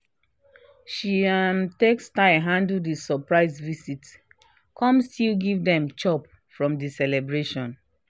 she um take style handle the surprise visit come still give dem chop from the celebration